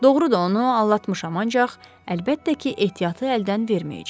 Doğrudur, onu aldatmışam, ancaq əlbəttə ki, ehtiyatı əldən verməyəcək.